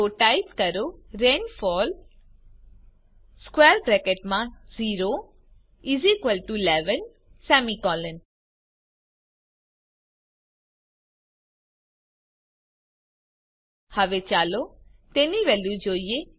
તો ટાઇપ કરો રેનફોલ 0 11 હવે ચાલો તેની વેલ્યુ જોઈએ